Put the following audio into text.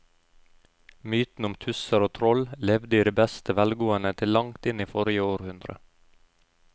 Mytene om tusser og troll levde i beste velgående til langt inn i forrige århundre.